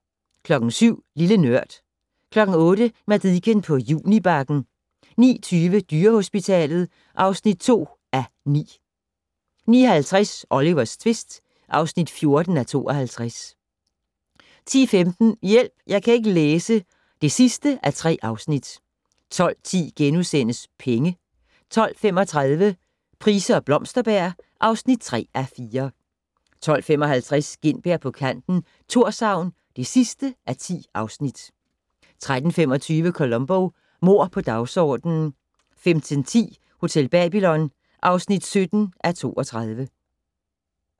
07:00: Lille Nørd 08:00: Madicken på Junibakken 09:20: Dyrehospitalet (2:9) 09:50: Olivers tvist (14:52) 10:15: Hjælp! Jeg kan ikke læse (3:3) 12:10: Penge * 12:35: Price og Blomsterberg (3:4) 12:55: Gintberg på kanten - Thorshavn (10:10) 13:25: Columbo: Mord på dagsordenen 15:10: Hotel Babylon (17:32)